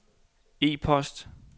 e-post